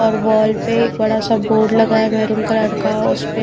और वॉल पे एक बड़ा सा बोर्ड लगा है मैरून कलर का उसपे--